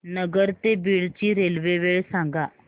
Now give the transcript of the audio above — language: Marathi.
नगर ते बीड ची रेल्वे वेळ सांगा